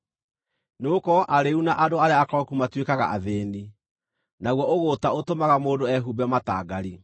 nĩgũkorwo arĩĩu na andũ arĩa akoroku matuĩkaga athĩĩni, naguo ũgũũta ũtũmaga mũndũ ehumbe matangari.